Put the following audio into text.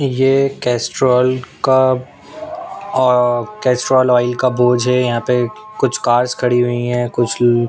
ये कैस्ट्रॉल का आ कैस्ट्रॉल ऑयल का बोर्ड यहां पे कुछ कार्स खड़ी हुई है कुछ--